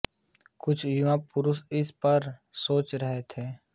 कुछ युवा पुरुष इस पर सोच रहे थे